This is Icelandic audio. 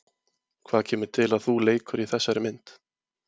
Hvað kemur til að þú leikur í þessari mynd?